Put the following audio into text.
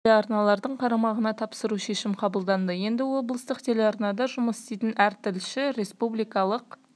бірге облыстық телеарналардың қарамағына тапсыруға шешім қабылданды енді облыстық телеарнада жұмыс істейтін әр тілші республикалық